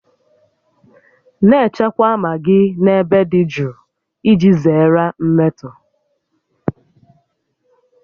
Na-echekwa magị n'ebe dị jụụ iji zere mmetọ